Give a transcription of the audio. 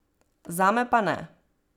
Zame pa ne.